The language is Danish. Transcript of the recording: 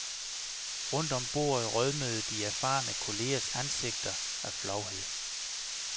Rundt om bordet rødmede de erfarne kollegers ansigter af flovhed.